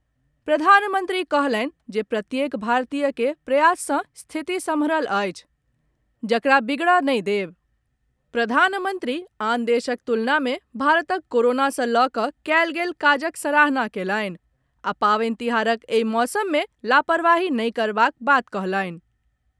प्रधानमन्त्री कहलनि जे प्रत्येक भारतीय के प्रयास सँ स्थिति सम्हरल अछि जकरा बिगड़य नहि देब। प्रधानमन्त्री आन देशक तुलना मे भारतक कोरोनासँ लऽ कऽ कयल गेल काजक सराहना कयलनि आ पावनि तिहारक एहि मौसम मे लापरवाही नहि करबाक बात कहलनि।